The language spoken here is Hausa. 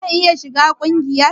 Zan iya shiga kungiyar?